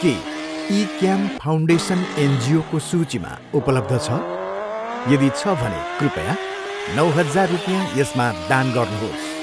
के इक्याम फाउन्डेसन एनजिओको सूचीमा उपलब्ध छ? यदि छ भने कृपया नौ हजार रुपियाँ यसमा दान गर्नुहोस्।